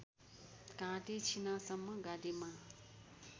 घाँटी छिनासम्म गाडीमा